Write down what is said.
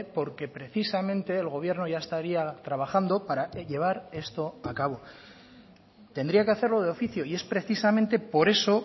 porque precisamente el gobierno ya estaría trabajando para llevar esto a cabo tendría que hacerlo de oficio y es precisamente por eso